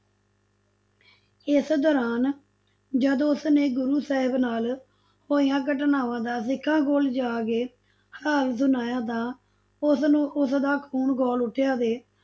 ਇਸ ਦੋਰਾਨ ਜਦ ਉਸਨੇ ਗੁਰੂ ਸਾਹਿਬ ਨਾਲ ਹੋਈਆਂ ਘਟਨਾਵਾਂ ਦਾ ਸਿੱਖਾਂ ਕੋਲੋਂ ਜਾ ਕੇ ਹਾਲ ਸੁਣਾਇਆ ਤਾਂ ਉਸਨੂੰ, ਉਸਦਾ ਖੂਨ ਖੋਲ ਉੱਠਿਆ ਤੇ,